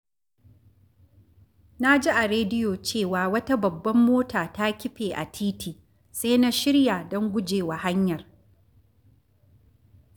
Na ji a rediyo cewa wata babbar mota ta kife a titi, sai na shirya don guje wa hanyar.